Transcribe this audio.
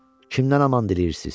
kimdən aman diləyirsiz?